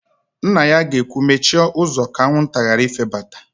Nna ya ga-ekwu, "mechie ụzọ ka anwụnta ghara ifebata"!